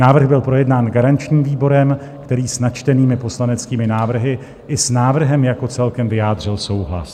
Návrh byl projednán garančním výborem, který s načtenými poslaneckými návrhy i s návrhem jako celkem vyjádřil souhlas.